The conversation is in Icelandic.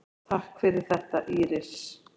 Takk fyrir þetta Íris.